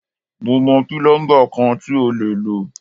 Mo mọ̀ pílọ́ḿbà kan tí o lè lò.